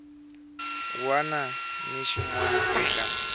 wana ni xin wana eka